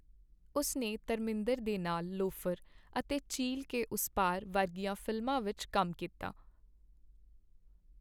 ਉਸ ਨੇ ਧਰਮਿੰਦਰ ਦੇ ਨਾਲ 'ਲਵੋਫਰ' ਅਤੇ 'ਝੀਲ ਕੇ ਉਸ ਪਾਰ' ਵਰਗੀਆਂ ਫ਼ਿਲਮਾਂ ਵਿੱਚ ਕੰਮ ਕੀਤਾ।